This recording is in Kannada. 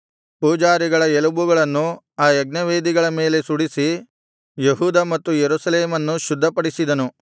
ಪೂಜಾರಿಗಳ ಎಲುಬುಗಳನ್ನು ಆ ಯಜ್ಞವೇದಿಗಳ ಮೇಲೆ ಸುಡಿಸಿ ಯೆಹೂದ ಮತ್ತು ಯೆರೂಸಲೇಮನ್ನು ಶುದ್ಧಪಡಿಸಿದನು